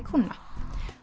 kúnna